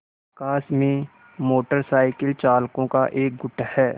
आकाश में motorcycle चालकों का एक गुट है